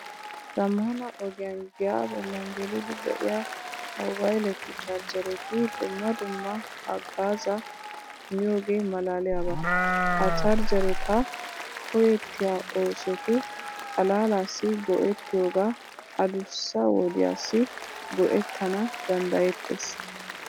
Zammana ogiyan giyaa bollan geliiddi de'iya moobayletu charjjereti dumma dumma haggaazaa immiyogee maalaaliyaba. Ha charjjereta koyettiya oosotu xalaalaassi go'ettiyoga addussa wodiyassi go'ettana danddayettees.